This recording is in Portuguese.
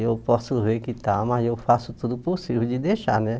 Eu posso ver que está, mas eu faço tudo possível de deixar, né?